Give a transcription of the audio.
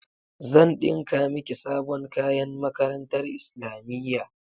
Zan ɗinka miki sabon kayan makarantar islamiyya.